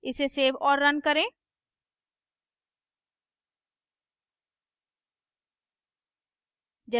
इसे सेव और रन करें